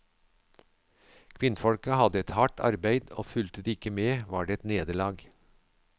Kvinnfolka hadde et hardt arbeid, og fulgte de ikke med, var det et nederlag.